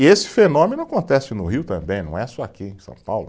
E esse fenômeno acontece no Rio também, não é só aqui em São Paulo.